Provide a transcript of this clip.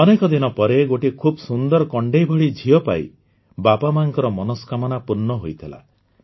ଅନେକ ଦିନ ପରେ ଗୋଟିଏ ଖୁବ ସୁନ୍ଦର କଣ୍ଡେଈ ଭଳି ଝିଅ ପାଇ ବାପାମାଆଙ୍କ ମନସ୍କାମନା ପୂର୍ଣ୍ଣ ହୋଇଥିଲା